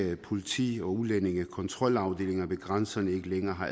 politi og udlændingekontrolafdelinger ved grænserne ikke længere har